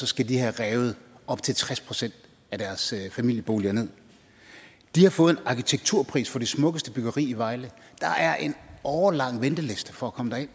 skal de have revet op til tres procent af deres familieboliger nederst de har fået en arkitekturpris for det smukkeste byggeri i vejle der er en årelang venteliste for at komme